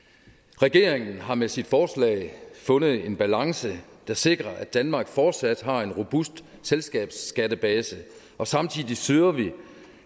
regeringen har med sit forslag fundet en balance der sikrer at danmark fortsat har en robust selskabsskattebase og samtidig søger vi